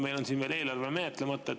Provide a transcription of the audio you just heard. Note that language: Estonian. Meil on siin veel eelarve menetlemata.